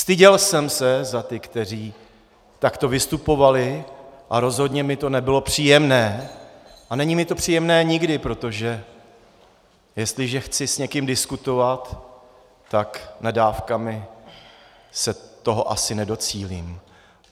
Styděl jsem se za ty, kteří takto vystupovali, a rozhodně mi to nebylo příjemné a není mi to příjemné nikdy, protože jestliže chci s někým diskutovat, tak nadávkami se toho asi nedocílí.